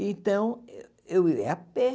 Então, eu eu ia a pé.